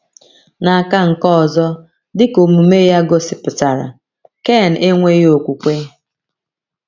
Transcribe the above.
N’aka nke ọzọ, dị ka omume ya gosipụtara, Ken enweghị okwukwe.